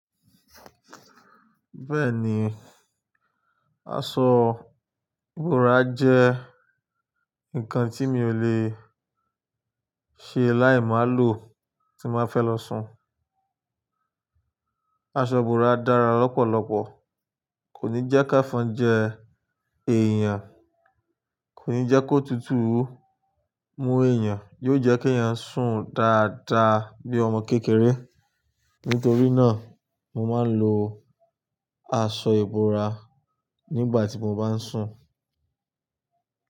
Bẹ́ẹ̀ni, aṣọ.ìbora jẹ́ ǹkan tí mi ò le ṣe láì má lo tí má fẹ́ lọ sùn. Aṣọ ìbora dára lọ́pọ̀lọpọ̀., kò ní jẹ́ ké fọn jẹ èèyàn, kò ní jẹ́ kó tutù mú èèyàn, yóò jẹ́ kí èèyàn sùn dáadáa bí ọmọ kékeré. Nítorí náà, mo máa ń lo aṣọ ìbora nígbà tí mo bá ń sùn.